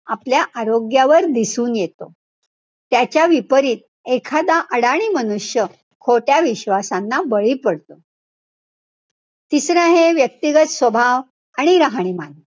आपल्या आरोग्यावर दिसणं येतो. त्याच्या विपरीत एखादा अडाणी मनुष्य खोट्या विश्वासानां बळी पडतो. तिसरं आहे व्यक्तिगत स्वभाव आणि राहणीमान,